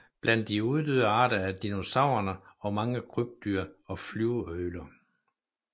Blandt de uddøde arter er dinosaurerne og mange krybdyr og flyveøgler